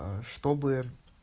а что бы